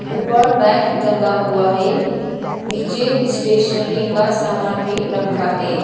ऊपर बैग टंगा हुआ है। नीचे स्टेशनरी का सामान भी रखा है।